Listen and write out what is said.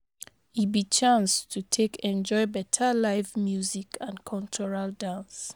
E be chance to take enjoy beta live music and cultural dance